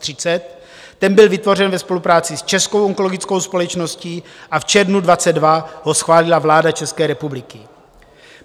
Ten byl vytvořen ve spolupráci s Českou onkologickou společností a v červnu 2022 ho schválila vláda České republiky.